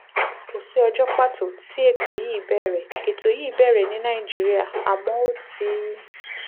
kò sí ọjọ́ pàtó tí ètò yìí bẹ̀rẹ̀ ètò yìí bẹ̀rẹ̀ ní nàìjíríà àmọ́ ó ti